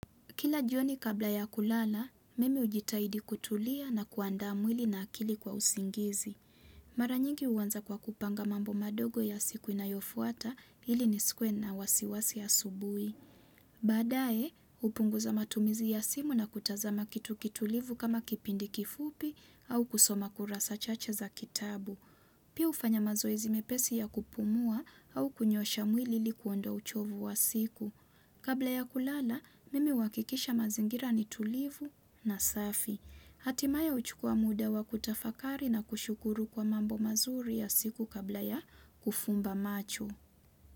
Kila jioni kabla ya kulala, mimi hujitahidi kutulia na kuandaa mwili na akili kwa usingizi. Maranyingi huanza kwa kupanga mambo madogo ya siku inayofuata ili nisikuwe na wasiwasi ya asubuhi. Baadae, hupunguza matumizi ya simu na kutazama kitu kitulivu kama kipindi kifupi au kusoma kurasa chache za kitabu. Pia hufanya mazoezi mepesi ya kupumua au kunyoosha mwili ili kuondoa uchovu wa siku. Kabla ya kulala, mimi huakikisha mazingira ni tulivu na safi. Hatimaya huchukua muda wa kutafakari na kushukuru kwa mambo mazuri ya siku kabla ya kufumba macho.